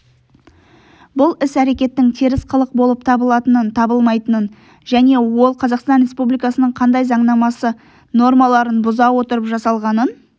бұл іс-әрекеттң теріс қылық болып табылатынын-табылмайтынын және ол қазақстан республикасының қандай заңнамасы нормаларын бұза отырып жасалғанын